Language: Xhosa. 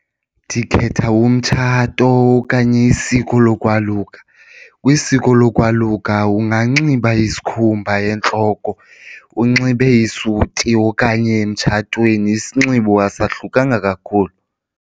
Ndikhetha umtshato okanye isiko lokwaluka kwisiko lokwaluka unganxiba isikhumba entloko unxibe isuti okanye emtshatweni isinxibo asohlukanga kakhulu.